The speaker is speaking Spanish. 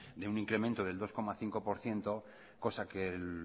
de un incremento del dos coma cinco por ciento cosa que el